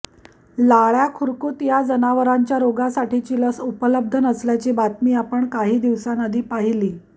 लाळ्या खुरकूत या जनावरांच्या रोगासाठीची लस उपलब्ध नसल्याची बातमी आपण काही दिवसां आधी पाहिली